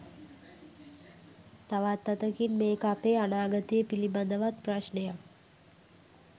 තවත් අතකින් මේක අපේ අනාගතය පිළිබඳවත් ප්‍රශ්නයක්.